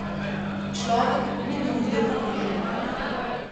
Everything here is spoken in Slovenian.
Človek ni bil videti pomirjen.